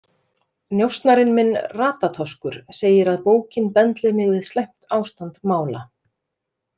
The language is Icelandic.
Njósnarinn minn, Ratatoskur, segir að bókin bendli mig við slæmt ástand mála.